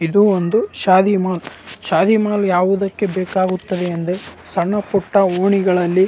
ಇದು ಒಂದು ಶಾದಿ ಮೂಲ. ಶಾದಿ ಮಹಲ್ ಯಾವುದಕ್ಕೆ ಬೇಕಾಗುತ್ತದೆ ಅಂದ್ರೆ ಸಣ್ಣ ಪುಟ್ಟ ಓಣಿಗಳಲ್ಲಿ--